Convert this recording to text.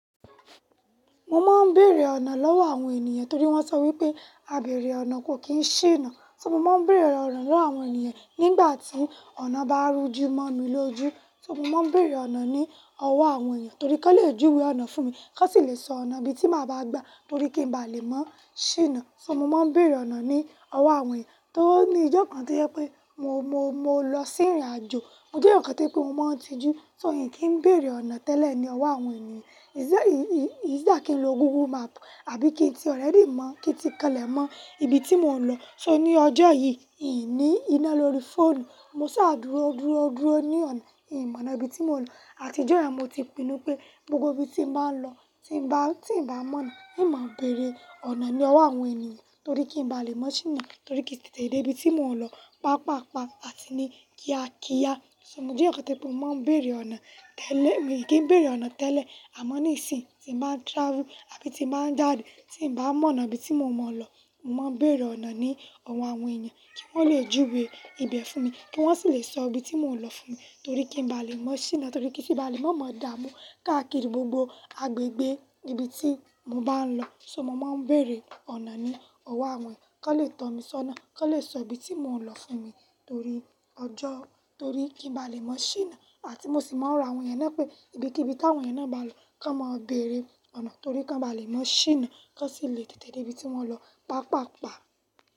Mo máa ń bèrè ọ̀nà lọ́wọ́ àwọn ènìyàn torí wọ́n sọ wípé, "àbéèrè ọ̀nà kò kí ń ṣíná." So mo máa ń bèrè ọ̀nà lọ́wọ́ àwọn ènìyàn nígbà tí ọ̀nà bá rúju mọ́ mi lójú. So mo máa ń bèrè ọ̀nà ní ọwọ́ àwọn ènìyàn torí kí wọ́n le júwe ọ̀nà fún mi, kí wọn sì le sọ ọ̀nà ibi tí màá bá gbà torí kí n bá lè mọ ṣíná. So mo máa ń bèrè ọ̀nà ní ọwọ́ àwọn ènìyàn. Tóri o ní ìjọ́ kan tó jẹ pé mo, mo, mo lọ sí ìrìnàjò, mo jẹ́ eeyan to je pé mo máa ń tijú, so n kì í bèerè ọ̀nà tẹ́lẹ̀ ní ọwọ́ àwọn ènìyàn. Ìṣẹ́, ì, ì, is either kí n lo Google Map àbí kí n tí already mọ̀, kí n ti kanle mọ ibi tí mò ń lọ. So ní ọjọ́ yìí, N ni iná lórí fóònù, mo saa dúró, dúró, dúró ní ọ̀nà. N mọ ona ibi tí mò ń lọ. Àtijọ́ yẹn mo ti pinnu pé gbogbo ibi tí m ba ń lọ, tí ń bá, tí ń bá mọ̀nà, n mo beèrè ọ̀nà ní ọwọ́ àwọn ènìyàn torí kí n bá lè mọ ṣíná torí kí n tètè dé ibi tí mò ń lọ, pàápàá, pàá àti ní kíá kíá. So mo jẹ́ eeyan to je pé mo máa ń bèrè ọ̀nà tẹ́lẹ̀, mi kì í bèrè ọ̀nà tẹ́lẹ̀. Àmọ́ ní ìsìn tí n ba ń travel àbí tí n ba ń jáde, tí ń bá mọ̀nà ibi tí mò mọ lọ, mo máa ń bèrè ọ̀nà ní ọwọ́ àwọn ènìyàn kí wọ́n le júwe ibẹ̀ fún mi, kí wọ́n sì le sọ ibi tí mò ń lọ fún mi torí kí n bá lè mọ ṣíná torí kí n tun bá lè mọ̀ dáa mú káàkiri gbogbo agbègbè ibi tí mo bá ń lọ. So mo máa ń bèrè ọ̀nà ní ọwọ́ àwọn ènìyàn kí wọ́n le tán mi sọ́nà, kí wọ́n le sọ ibi tí mò ń lọ fún mi torí ọjọ́, torí kí n bá lè mọ ṣíná àti mo sì máa ń ro àwọn ènìyàn náà pé, ibikibí tí àwọn ènìyàn náà bá lọ, ki won máa bèerè ọ̀nà torí ki won bá lè mọ ṣíná, ki won sì le tètè dé ibi tí wọ́n lọ, pàápàápàá.